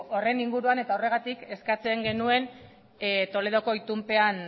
horren inguruan eta horregatik eskatzen genuen toledoko itunpean